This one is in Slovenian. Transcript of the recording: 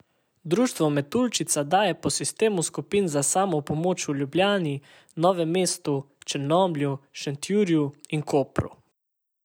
Društvo Metuljčica deluje po sistemu skupin za samopomoč v Ljubljani, Novem mestu, Črnomlju, Šentjurju in Kopru.